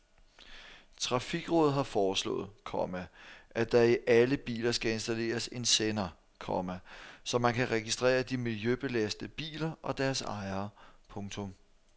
Trafikrådet har foreslået, komma at der i alle biler skal installeres en sender, komma så man kan registrere de miljøbelastende biler og deres ejere. punktum